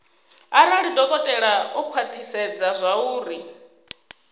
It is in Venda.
arali dokotela o khwathisedza zwauri